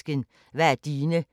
DR P2